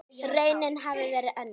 Raunin hafi verið önnur.